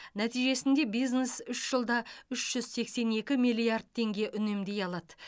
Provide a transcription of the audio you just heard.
нәтижесінде бизнес үш жылда үш жүз сексен екі миллиард теңге үнемдей алады